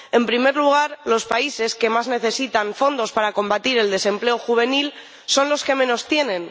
En primer lugar, los países que más necesitan fondos para combatir el desempleo juvenil son los que menos tienen.